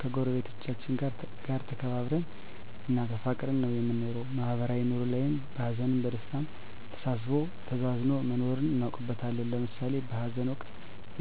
ከጎረቤቶቻችን ጋር ተከባብረን እና ተፋቅረን ነው የምንኖረው ማህበራዊ ኑሮ ላይም በሀዘንም በደስታም ተሳስቦ ተዛዝኖ መኖርን እናውቅበታለን ለምሳሌ በሀዘን ወቅት